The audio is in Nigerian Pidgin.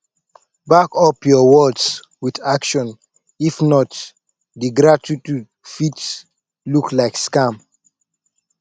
back up your words with action if not di gratitude fit look like scam